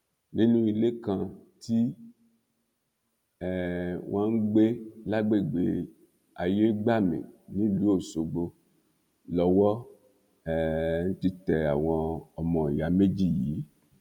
nínú ilé kan tí um wọn ń gbé lágbègbè ayégbàmì nílùú ọṣọgbó lowó um ti tẹ àwọn ọmọọyà méjì yìí